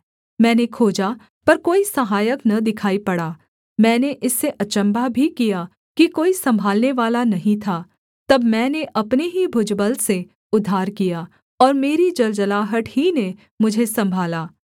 मैंने खोजा पर कोई सहायक न दिखाई पड़ा मैंने इससे अचम्भा भी किया कि कोई सम्भालनेवाला नहीं था तब मैंने अपने ही भुजबल से उद्धार किया और मेरी जलजलाहट ही ने मुझे सम्भाला